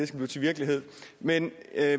til virkelighed men